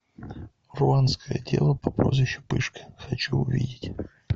руанская дева по прозвищу пышка хочу увидеть